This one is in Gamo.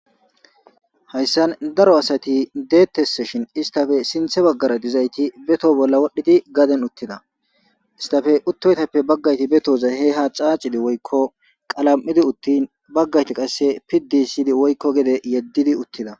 Hayissan daro asati deettesse shin istafe sinthe baggara dizayti beto bolla wodhdhidi gaden uttida istafe uttoytappe baggayti betoza he ha caacidi woyikko qalam'idi uttin baggayti qasse pidisidi woiykko gede yeddidi uttida